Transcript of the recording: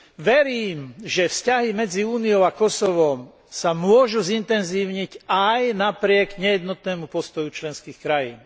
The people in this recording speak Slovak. Verím že, vzťahy medzi Úniou a Kosovom sa môžu zintenzívniť aj napriek nejednotnému postoju členských krajín.